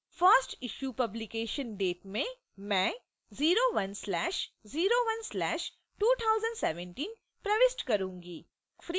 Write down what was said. first issue publication date में मैं 01/01/2017 प्रविष्ट करूंगी